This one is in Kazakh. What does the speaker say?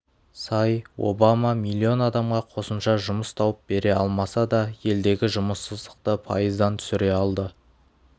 сай обама млн адамға қосымша жұмыс тауып бере алмаса да елдегі жұмыссыздықты пайыздан түсіре алды